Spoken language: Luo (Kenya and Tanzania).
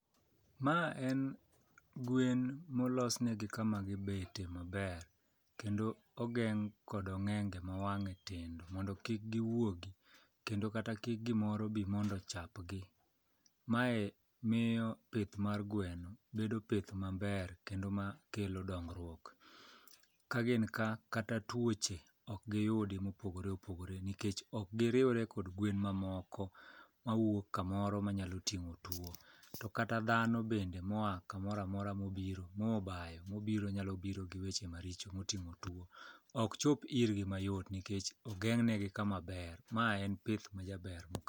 Ma en gwen molos ne gi kama gibete maber, kendo ogeng' kodog'enge ma wang'e tindo mondo kik giwuogi. Kendo kata kik gimoro bi mondo ochapgi. Maye miyo pith mar gweno bedo pith maber kendo ma kelo dongruok. Ka gin ka kata tuoche ok giyudo mopogore opogore nikech ok giriwre kod gwen mamoko mawuok kamoro ma nyalo ting'o tuo. To kata dhano bende moa kamora mora mobiro mobayo mobiro nyalo biro gi weche maricho moting'o tuo. Ok chop irgi mayot nikech ogeng'ne gi kama ber, ma en pith majaber ma.